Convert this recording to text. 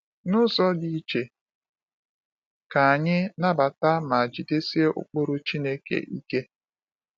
N’ụzọ dị iche, ka anyị nabata ma jidesie ụkpụrụ Chineke ike.